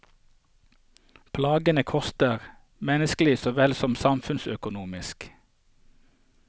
Plagene koster, menneskelig så vel som samfunnsøkonomisk.